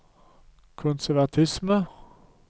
konservatisme